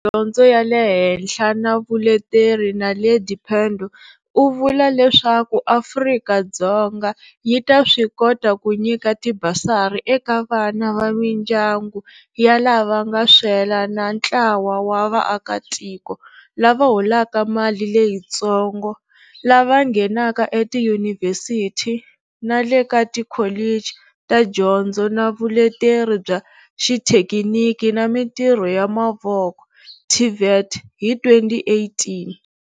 Dyondzo ya le Henhla na Vuleteri Naledi Pandor u vula leswaku Afrika-Dzonga yi ta swi kota ku nyika ti basari eka vana va mindyangu ya lava nga swela na ntlawa wa vaakitiko lava holaka mali leyitsongo lava nghenaka etiyunivhesiti na le ka ti kholichi ta Dyondzo na Vuleteri bya Xithekiniki na Mitirho ya Mavoko, TVET, hi 2018.